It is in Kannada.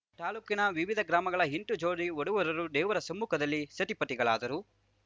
ತಾಲೂಕಿನ ವಿವಿಧ ಗ್ರಾಮಗಳ ಎಂಟು ಜೋಡಿ ಮಧುವರರು ದೇವರ ಸಮ್ಮುಖದಲ್ಲಿ ಸತಿಪತಿಗಳಾದರು